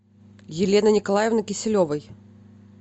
елены николаевны киселевой